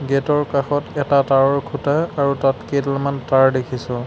Gate ৰ কাষত এটা তাঁৰৰ খুঁটা আৰু তাত কেইডালমান তাঁৰ দেখিছোঁ।